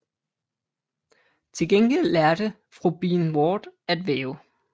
Til gengæld lærte fru Bean Ward at væve